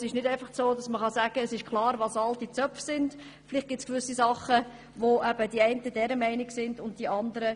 Es ist nicht einfach klar, was zu den alten Zöpfen gehört.